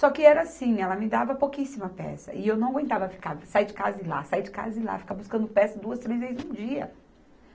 Só que era assim, ela me dava pouquíssima peça, e eu não aguentava ficar sair de casa e ir lá, sair de casa e ir lá, ficar buscando peça duas, três vezes no dia.